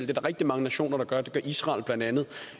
der er rigtig mange nationer der gør det gør israel blandt andet